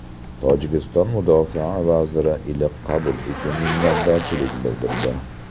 Tojikiston mudofaa vaziri iliq qabul uchun minnatdorchilik bildirdi.